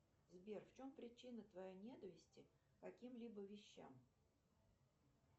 сбер в чем причина твоей ненависти к каким либо вещам